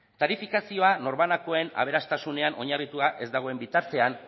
tarifazioa norbanakoen aberastasunean oinarritua ez dagoen bitartean